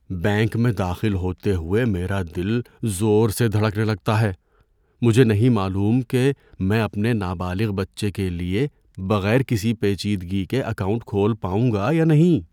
Bank میں داخل ہوتے ہوئے میرا دل زور سے دھڑکنے لگتا ہے، مجھے نہیں معلوم کہ میں اپنے نابالغ بچے کے لیے بغیر کسی پیچیدگی کے اکاؤنٹ کھول پاؤں گا یا نہیں۔